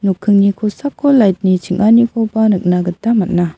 nokkingni kosako light-ni ching·anikoba nikna gita man·a.